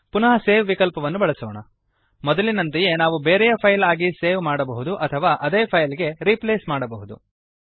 ಪುನಃ ಸೇವ್ ವಿಕಲ್ಪವನ್ನು ಬಳಸೋಣ ಮೊದಲಿನಂತೆಯೇ ನಾವು ಬೇರೆಯ ಫೈಲ್ ಆಗಿ ಸೇವ್ ಮಾಡಬಹುದು ಅಥವಾ ಅದೇ ಫೈಲ್ ಗೆ ರೀಪ್ಲೇಸ್ ಮಾಡಬಹುದು